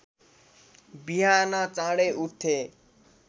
बिहान चाँडै उठ्थे